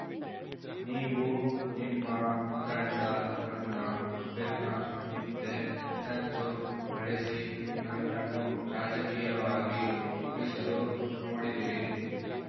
ನೀವು ನಿಮ್ಮ ತಂಡ ನನ್ನ ಬೆನ್ನ ಹಿಂದೆ ಸಂಚು ನಡೆಸಿ ನನ್ನನ್ನು ರಾಜಕೀಯವಾಗಿ ಮುಗಿಸಲು ನೋಡಿದಿರಿ